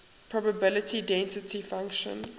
probability density function